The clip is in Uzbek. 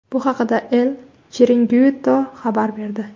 Bu haqda El Chiringuito xabar berdi .